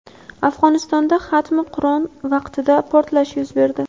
Afg‘onistonda xatmi Qur’on vaqtida portlash yuz berdi.